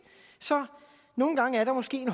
så nogle gange er der måske